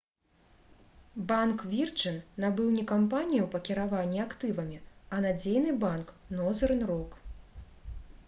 банк «вірджын» набыў не кампанію па кіраванні актывамі а надзейны банк «нозэрн рок»